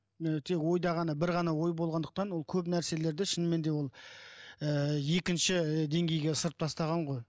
ы тек ойда ғана бір ғана ой болғандықтан ол көп нәрселерді шынымен де ол ы екінші ы деңгейге ысырып тастаған ғой